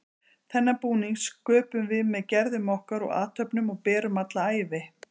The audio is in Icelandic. Þennan búning sköpum við með gerðum okkar og athöfnum og berum alla ævi.